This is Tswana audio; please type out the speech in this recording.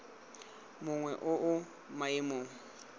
mongwe o o mo maemong